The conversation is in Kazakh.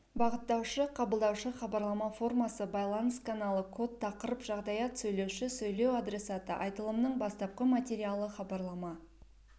бағыттаушы қабылдаушы хабарлама формасы байланыс каналы код тақырып жағдаят сөйлеуші сөйлеу адресаты айтылымның бастапқы материалы хабарлама